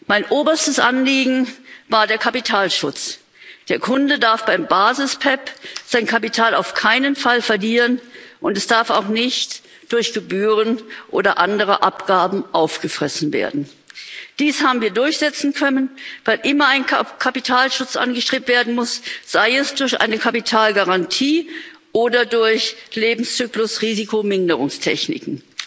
Mein oberstes Anliegen war der Kapitalschutz. Der Kunde darf beim Basis PEPP sein Kapital auf keinen Fall verlieren, und es darf auch nicht durch Gebühren oder andere Abgaben aufgefressen werden. Dies haben wir durchsetzen können, weil immer ein Kapitalschutz angestrebt werden muss sei es durch eine Kapitalgarantie oder durch Lebenszyklus Risikominderungstechniken.